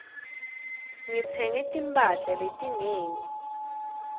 ngitsenge timphahla letinengi